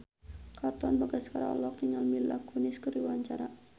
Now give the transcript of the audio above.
Katon Bagaskara olohok ningali Mila Kunis keur diwawancara